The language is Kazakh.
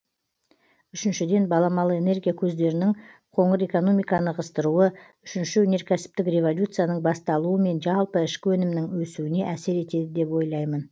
үшіншіден баламалы энергия көздерінің қоңыр экономиканы ығыстыруы үшінші өнеркәсіптік революцияның басталуы мен жалпы ішкі өнімнің өсуіне әсер етеді деп ойлаймын